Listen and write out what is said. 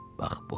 Bax bu.